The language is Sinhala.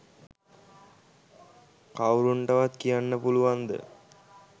කව්රුන්ටවත් කියන්න පුළුවන්ද?